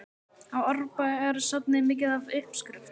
Á Árbæjarsafnið mikið af uppskriftum?